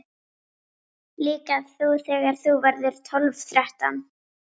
Líka þú þegar þú verður tólf, þrettán.